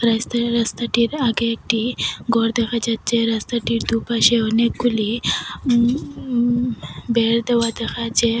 রাস্তায় রাস্তাটির আগে একটি গর দেখা যাচ্চে রাস্তাটির দুপাশে অনেকগুলি উম-ম-ম দেওয়া ।